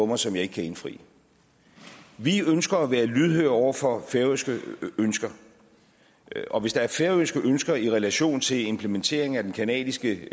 mig som jeg ikke kan indfri vi ønsker at være lydhøre over for færøske ønsker og hvis der er færøske ønsker i relation til implementeringen af den canadiske